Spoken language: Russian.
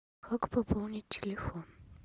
как пополнить телефон